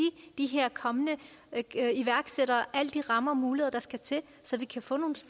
de her kommende iværksættere alle de rammer og muligheder der skal til så vi kan få nogle